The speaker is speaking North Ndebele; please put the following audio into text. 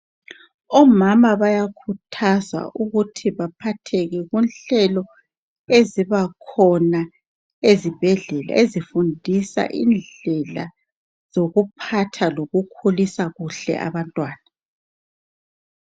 Omama bayakhuthazwa ukuthi baphatheke kunhlelo eziba khona ezibhedlela ezifundisa indlela zokuphatha lokukhulisa kuhle abantwana.